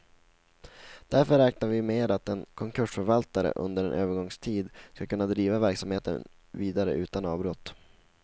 Därför räknar vi med att en konkursförvaltare under en övergångstid skall kunna driva verksamheten vidare utan avbrott.